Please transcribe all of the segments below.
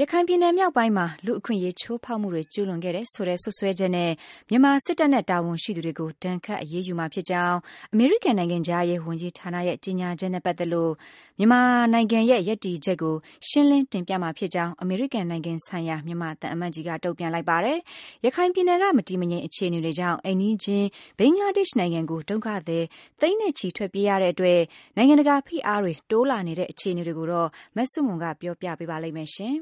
ရခိုင်ပြည်နယ် မြောက်ပိုင်းမှာ လူ့အခွင့်အရေး ချိုးဖောက်မှုတွေ ကျုးလွန်ခဲ့တယ်ဆိုတဲ့ စွပ်စွဲချက်နဲ့ မြန်မာစစ်တပ်နဲ့ တာဝန်ရှိသူတွေကို ဒဏ်ခတ်အရေးယူမှာဖြစ်ကြောင်း အမေရိကန် နိုင်ငံခြားရေးဝန်ကြီးဌာနရဲ့ ကြေညာချက်နဲ့ ပတ်သက်လို့ မြန်မာနိုင်ငံရဲ့ ရပ်တည်ချက်ကို ရှင်းလင်းတင်ပြမှာဖြစ်ကြောင်း အမေရိကန်နိုင်ငံဆိုင်ရာ မြန်မာသံအမတ်ကြီးက တုံ့ပြန်လိုက်ပါတယ်။ ရခိုင်ပြည်နယ်က မတည်မငြိမ် အခြေအနေတွေကြောင့် အိမ်နီးချင်း ဘင်္ဂလားဒေ့ရှ်နိုင်ငံကို ဒုက္ခသည်သိန်းနဲ့ချီ ထွက်ပြေးရတဲ့အတွက် နိုင်ငံတကာ ဖိအားတွေ တိုးလာနေတဲ့ အခြေအနေတွေကိုတော့ မဆုမွန်က ပြောပြပေးမှာ ဖြစ်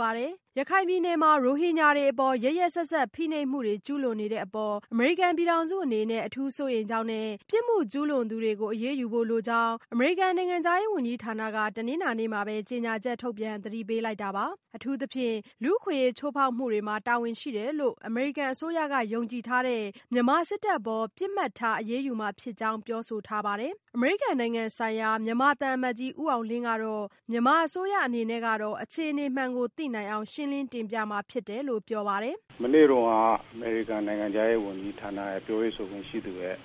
ပါတယ်။ ရခိုင်ပြည်နယ်မှာ ရိုဟင်ဂျာတွေအပေါ် ရက်ရက်စက်စက် ဖိနှိပ်မှုတွေ ကျုးလွန်နေတဲ့အပေါ် အမေရိကန် ပြည်ထောင်စုအနေနဲ့ အထူးစိုးရိမ်ကြောင်းနဲ့ ပြစ်မှုကျူးလွန်သူတွေကို အရေးယူဖို့လိုကြောင်း အမေရိကန် နိုင်ငံခြားရေးဝန်ကြီးဌာနက တနင်္လာနေ့မှာပဲ ကြေညာချက်ထုတ်ပြန် သတိပေးလိုက်တာပါ။ အထူးသဖြင့် လူ့အခွင့်အရေး ချိုးဖောက်မှုတွေမှာ တာဝန်ရှိတယ်လို့ အမေရိကန် အစိုးရက ယုံကြည်ထားတဲ့ မြန်မာစစ်တပ်အပေါ် ပစ်မှတ်ထား အရေးယူမှာဖြစ်ကြောင်း ပြောဆိုထားပါတယ်။ အမေရိကန်နိုင်ငံဆိုင်ရာ မြန်မာသံအမတ်ကြီး ဦးအောင်လင်းကတော့ မြန်မာအစိုးရ အနေနဲ့ကတော့ အခြေအနေမှန်ကို သိနိုင်အောင် ရှင်းလင်းတင်ပြမှာဖြစ်တယ်လို့ ပြောပါတယ်။ “မနေ့တုန်းက အမေရိကန်နိုင်ငံခြားရေးဝန်ကြီးဌာနရဲ့ ပြောရေးဆိုခွင့်ရှိသူရဲ့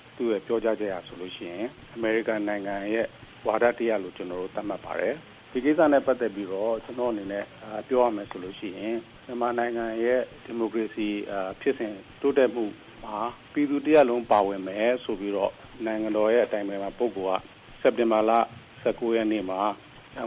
ပြောကြားချက်အရဆိုရင် အမေရိကန်နိုင်ငံရဲ့ ဝါဒတရပ်လို့ ကျနော်တို့ သတ်မှတ်ပါတယ်။ ဒီကိစ္စနဲ့ ပတ်သက်ပြီးတော့ ကျနော့်အနေနဲ့ ပြောရမယ်ဆိုရင် မြန်မာနိုင်ငံရဲ့ ဒီမိုကရေစီဖြစ်စဉ်တိုးတက်မှုဟာ ပြည်သူတရပ်လုံးပါဝင်တယ်ဆိုပြီးတော့ နိုင်ငံတော်အတိုင်ပင်ခံပုဂ္ဂိုလ်က စက်တင်ဘာ ၁၉ မှာ မြ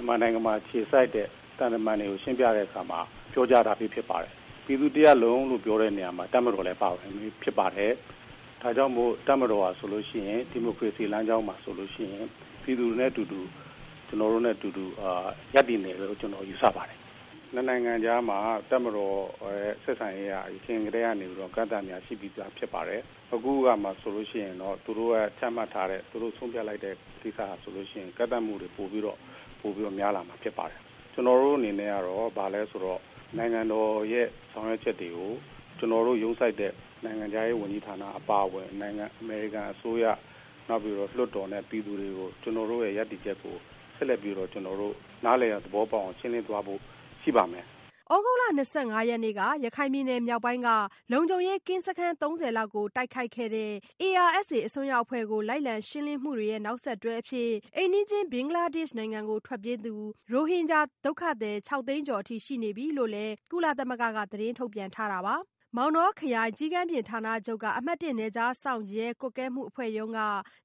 န်မာနိုင်ငံမှာ အခြေစိုက်တဲ့ သံတမန်တွေကို ရှင်းပြတဲ့အခါမှာ ပြောကြားထားပြီးဖြစ်ပါတယ်။ ပြည်သူတရပ်လုံးလို့ပြောတဲ့နေရာမှာ တပ်မတော်လည်းပါပါတယ်။ ဒါကြောင့်မို့လို့ တပ်မတော်ဟာဆိုရင် ဒီမိုကရေစီလမ်းကြောင်းမှာဆိုရင် ပြည်သူနဲ့အတူတူ ကျနော်တို့နဲ့ အတူတူ ရပ်တည်နေမယ်လို့ ကျနော်တို့ ယူဆပါတယ်။ ၂ နိုင်ငံကြားမှာ တပ်မတော်ရဲ့ ဆက်ဆံရေးက အရင်ကတည်းကနေပြီးတော့ အကန့်အသတ်တွေက ရှိပြီးသားဖြစ်ပါတယ်။ အခု သူတို့ချမှတ်ထားတဲ့ ဆုံးဖြတ်လိုက်တာတွေဆိုရင်တော့ ကန့်သတ်မှုတွေ ပိုပြီးတော့ များလာမှာ ဖြစ်ပါတယ်။ ကျနော်တို့အနေနဲ့ကတော့ ဘာလဲဆိုတော့ နိုင်ငံတော်ရဲ့ ဆောင်ရွက်ချက်တွေကို ကျနော်တို့ ရုံးဆိုက်တဲ့ နိုင်ငံခြားရေးဝန်ကြီးဌာအပါအဝင် အမေရိကန်အစိုးရ လွှတ်တော်နဲ့ ပြည်သူတွေကို ကျနော်တို့ရဲ့ ရပ်တည်ချက်ကို ဆက်လက်ပြီးတော့ ကျနော်တို့ နားလည်သဘောပေါက်အောင် ရှင်းလင်းသွားဖို့ ရှိပါမယ်။” သြဂုတ်လ ၂၅ ရက်နေ့က ရခိုင်ပြည်နယ် မြောက်ပိုင်းက လုံခြုံရေးကင်းစခန်း ၃၀ လောက်ကို တိုက်ခိုက်ခဲ့တဲ့ ARSA အစွန်းရောက်အဖွဲ့ကို လိုက်လံရှင်းလင်းမှုတွေရဲ့ နောက်ဆက်တွဲအဖြစ်၊ အိမ်နီးချင်း ဘင်္ဂလားဒေ့ရှ်နိုင်ငံကို ထွက်ပြေးသူ ရိုဟင်ဂျာ ဒုက္ခသည် ၆ သိန်းကျော်အထိ ရှိနေပြီလို့လည်း ကုလသမဂ္ဂက သတင်းထုတ်ပြန်ထားတာပါ။မောင်တောခရိုင် ကျီးကန်းပြင်ဌာနချုပ်က အမှတ် နယ်ခြားစောင့်ရဲကွပ်ကဲမှုအဖွဲ့မှူးရုံးက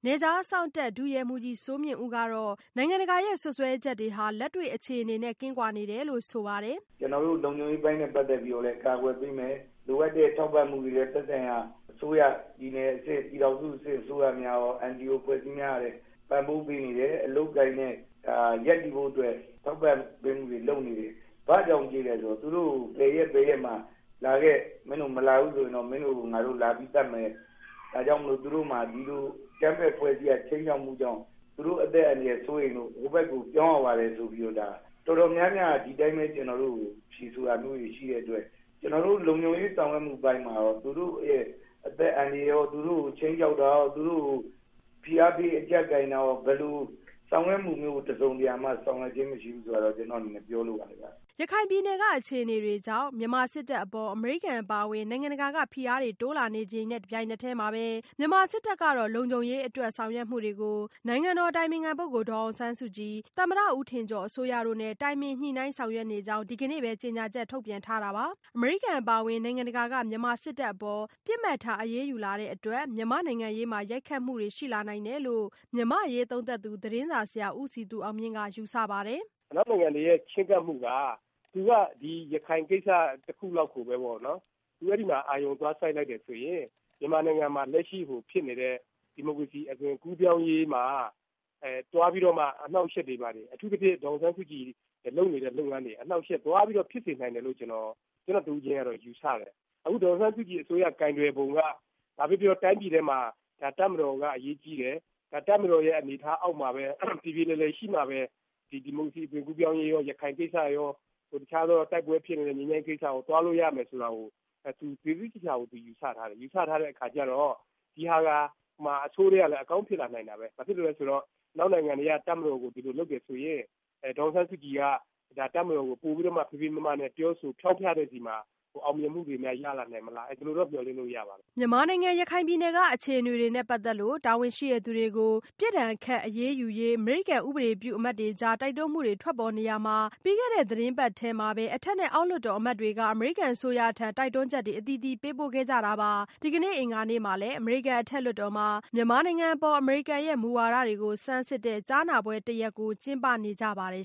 နယ်ခြားစောင့်တပ် ဒုရဲမှူးကြီးစိုးမြင့်ဦးကတော့ နိုင်ငံတကာရဲ့ စွပ်စွဲချက်တွေဟာ လက်တွေ့အခြေအနေနဲ့ ကင်းကွာနေတယ်လို့ ဆိုပါတယ်။ “ကျနော်တို့ လုံခြုံပေးအပိုင်းနဲ့ ပတ်သက်ပြီးတော့လည်း ကာကွယ်ပေးမယ်။ လိုအပ်တဲ့ထောက်ပံ့မှုတွေနဲ့ သက်ဆိုင်ရာအစိုးရ ၊ ပြည်နယ်အဆင့်၊ ပြည်ထောင်စုအဆင့် အစိုးရများရော NGO အဖွဲ့အစည်းများ ကလည်း ပံ့ပိုးပေးနေတယ်။ အလုပ်အကိုင်နဲ့ ရပ်တည်ဖို့အတွက်လည်း ထောက်ပံ့ပေးမှုတွေလည်း လုပ်နေတယ်။ ဘာကြောင့်ပြေးသလဲဆိုတော့ ဘယ်ရက်၊ ဘယ်ရက်မှာ လာခဲ့ မင်းတို့ မလာဘူးဆိုရင်တော့ မင်းတို့ကို လာပြီးတော့ သတ်မယ် ၊ ဒါကြောင့်မို့လို့ သူတို့မှာ ဒီလိုအကြမ်းဖက်အဖွဲ့အစည်းရဲ့ ခြိမ်းခြောက်မှုကြောင့် သူတို့ အသက်အန္တရာယ် စိုးရိမ်လို့ ဟိုဘက်ကို ပြောင်းရပါတယ်ဆိုတာ တော်တော်များများက ဒီအတိုင်းပဲ ကျနော်တို့ဆီကို ဖြေဆိုတာမျိုးတွေ ရှိတဲ့အတွက် ကျနော်တို့ လုံခြုံရေးဆောင်ရွက်မှုအပိုင်းမှာရော သူတို့ရဲ့အသက်အန္တရာယ်ရော၊ သူတို့ကို ခြိမ်းခြောက်တာရော သူတို့ကို ဖိအားပေးအကျပ်ကိုင်တာရော ဘယ်လိုဆောင်ရွက်မှုမျိုးကို တစုံတရာမှာ ဆောင်ရွက်ခြင်းမရှိဘူး ဆိုတာကိုတော့ ကျနော့်အနေနဲ့ ပြောလိုပါတယ်ခင်ဗျ။” ရခိုင်ပြည်နယ်က အခြေအနေတွေကြောင့် မြန်မာစစ်တပ်အပေါ် အမေရိကန် အပါအဝင် နိုင်ငံတကာက ဖိအားတွေ တိုးလာနေတဲ့ တချိန်တည်းမှာပဲ မြန်မာစစ်တပ်ကတော့ လုံခြုံရေးအတွက် ဆောင်ရွက်မှုတွေကို နိုင်ငံတော်အတိုင်ပင်ခံပုဂ္ဂိုလ် ဒေါ်အောင်ဆန်းစုကြည်၊ သမ္မတ ဦးထင်ကျော် အစိုးရတို့နဲ့ တိုင်ပင်ညှိနှိုင်းဆောင်ရွက်နေကြောင်း ဒီကနေ့ပဲ ကြေညာချက် ထုတ်ပြန်ထားတာပါ။ အမေရိကန် အပါအဝင် နိုင်ငံတကာက မြန်မာစစ်တပ်အပေါ် ပစ်မှတ်ထား အရေးယူလာတဲ့အတွက် မြန်မာ့နိုင်ငံရေးမှာ ရိုက်ခတ်မှုတွေ ရှိလာနိုင်တယ်လို့ မြန်မာ့အရေးသုံးသပ်သူ သတင်းစာဆရာ ဦးစည်သူအောင်မြင့်က ယူဆပါတယ်။ “အနောက်နိုင်ငံတွေရဲ့ ချဉ်းကပ်မှုက သူက ရခိုင်ကိစ္စတခုလောက်ကိုပဲပေါ့နော် အဲဒီမှာ အာရုံသွားစိုက်လိုက်တယ်ဆိုရင် မြန်မာနိုင်ငံမှာ လက်ရှိဖြစ်နေတဲ့ အသွင်ကူးပြောင်းရေးမှာ သွားပြီးတော့ အနှောင့်အယှက်တွေ၊ ပြီးတော့ အထူးသဖြင့် ဒေါ်အောင်ဆန်းစုကြည် လုပ်နေတဲ့ လုပ်ငန်းတွေ အနှောင့်အယှက်သွားပြီးတော့ ဖြစ်စေနိုင်တယ်လို့ ကျနော်တဦးချင်းတော့ ယူဆတယ်။ အခု ဒေါ်အောင်ဆန်းစုကြည်အစိုးရ ကိုင်တွယ်ပုံက ဘာပဲပြောပြော တိုင်းပြည်ထဲမှာ တပ်မတော်က အရေးကြီးတယ်။ တပ်မတော်ရဲ့ အနေအထားအောက်မှာပဲ ပြေပြေလည်လည်ရှိမှပဲ ဒီမိုကရေစီ အသွင်ကူးပြောင်းရေးရော၊ ရခိုင်ကိစ္စရော တခြားသော တိုက်ပွဲဖြစ်နေတဲ့ ငြိမ်းချမ်းရေးကိစ္စရော သွားလို့ရမယ်ဆိုတာကို ယူဆထားတယ်။ ယူဆထားတဲ့ အခါကျတော့ ဒီဟာက အဆိုးထဲကလည်း အကောင်းဖြစ်လာနိုင်တာပဲ ဘာဖြစ်လို့လဲဆိုတော့ အနောက်နိုင်ငံတွေက တပ်မတော်ကို ဒီလိုလုပ်တယ်ဆိုရင် ဒေါ်အောင်ဆန်းစုကြည် က ပိုပြီးတော့ ဖေးဖေးမမနဲ့ ပြောဆိုဖျောင်းဖျတဲ့အခါမှာ ပိုပြီးတော့ အောင်မြင်မှုတွေရလာနိုင်မလား ဒီလိုတော့ မျှော်လင့်လို့တော့ ရပါတယ်။” မြန်မာနိုင်ငံ ရခိုင်ပြည်နယ်က အခြေအနေတွေနဲ့ ပတ်သက်လို့ တာဝန်ရှိသူတွေကို ပြစ်ဒဏ်ခတ် အရေးယူရေး အမေရိကန် ဥပဒေပြုအမတ်တွေကြား တိုက်တွန်းမှုတွေ ထွက်ပေါ်နေရာမှာ၊ ပြီးခဲ့တဲ့ သီတင်းပတ်ထဲမှာပဲ အထက်နဲ့ အောက်လွှတ်တော် အမတ်တွေက အမေရိကန် အစိုးရထံ တိုက်တွန်းချက်တွေ အသီးသီးပေးပို့ခဲ့ကြတာပါ။ ဒီကနေ့ အင်္ဂါနေ့မှာလည်း အမေရိကန် အထက်လွှတ်တော်မှာ မြန်မာနိုင်ငံအပေါ် အမေရိကန်ရဲ့ မူဝါဒတွေကို ဆန်းစစ်တဲ့ ကြားနာပွဲတရပ်ကို ကျင်းပနေကြပါတယ်